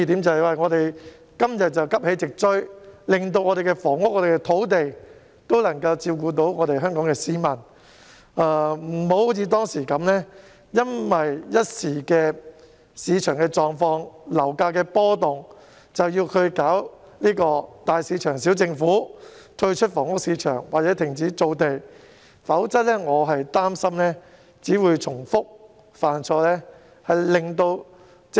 即是說今天我們應急起直追，讓房屋和土地發展能照顧香港市民的需要，而非如當時般因一時的市場狀況和樓價波動而推動"大市場、小政府"，退出房屋市場或停止造地，否則我擔心只會重蹈覆轍。